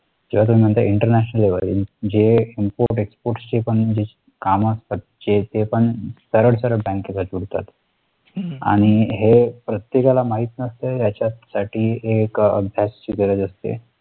जेव्हा तुम्ही म्हणता interantional import export चे जे काम असतात जे ते पण